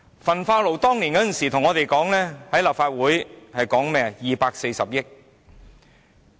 政府當年在立法會表示，興建焚化爐費用為240億元。